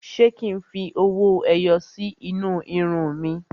Ṣé kí n fi owó ẹyọ sí inú irun mi?